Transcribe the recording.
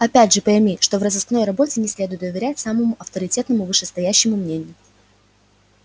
опять же пойми что в розыскной работе не следует доверять самому авторитетному вышестоящему мнению